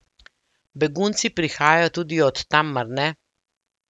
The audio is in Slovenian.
Begunci prihajajo tudi od tam, mar ne?